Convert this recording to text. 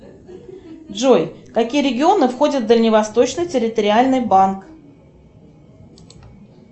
джой какие регионы входят в дальневосточный территориальный банк